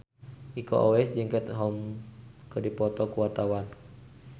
Iko Uwais jeung Katie Holmes keur dipoto ku wartawan